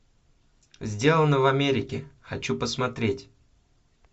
сделано в америке хочу посмотреть